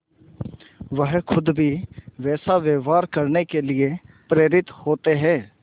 वह खुद भी वैसा व्यवहार करने के लिए प्रेरित होते हैं